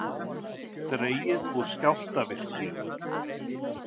Dregið úr skjálftavirkni